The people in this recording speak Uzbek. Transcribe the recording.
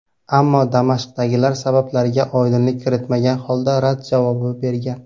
Ammo Damashqdagilar sabablariga oydinlik kiritmagan holda, rad javobi bergan.